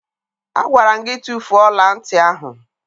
Agwara m gị tufuo ọla ntị ahụ!